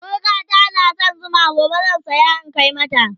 sirikata na da San Zuma gobe zan saya in Kai mata